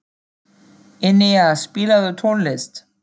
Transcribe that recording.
Enea, spilaðu tónlist.